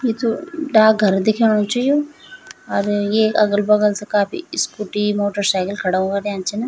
यी जू डाकघर दिखेणु च यु अर येक अगल-बगल से काफी स्कूटी मोटरसाइकिल खड़ा हुवा रेंद छिन।